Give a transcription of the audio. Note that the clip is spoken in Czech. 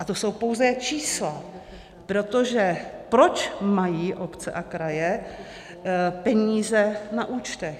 A to jsou pouze čísla, protože proč mají obce a kraje peníze na účtech?